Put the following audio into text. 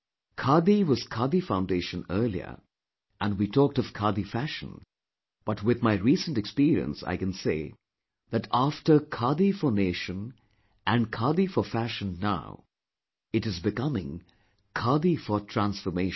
Khadi was Khadi foundation earlier and we talked of Khadi fashion but with my recent experience I can say that after Khadi for nation and Khadi for fashion now, it is becoming Khadi for transformation